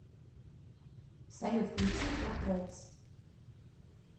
салют включи портрэйтс